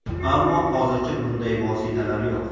Ammo hozircha bunday vositalar yo‘q.